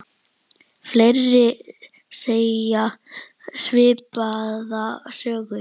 Fleiri segja svipaða sögu.